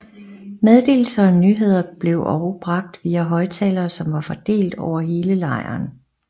Meddelelser og nyheder blev og bragt via højtalere som var fordelt over hele lejren